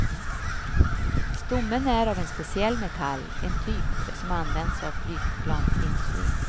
Stommen är av en speciall metall, en typ, som används av flygplansindustrin.